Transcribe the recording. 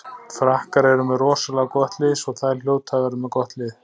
Frakkar eru með rosalega gott lið svo þær hljóta að vera með gott lið.